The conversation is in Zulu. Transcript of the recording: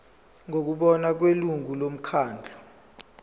ngokubona kwelungu lomkhandlu